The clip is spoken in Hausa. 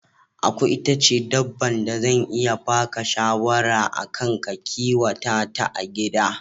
Aku ita ce dabban da zan iya baka shawara a kan ka kiwata ta a gida